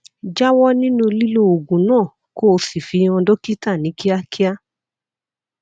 jáwọ nínú lílo oògùn náà kó o sì fi hàn dókítà ní kíákíá